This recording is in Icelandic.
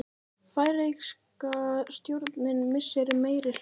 Færeyska stjórnin missir meirihluta